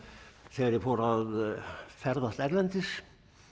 þegar ég fór að ferðast erlendis